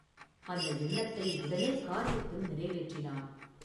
அந்த எண்ணத்தை உடனே காரியத்தில் நிறைவேற்றினான்.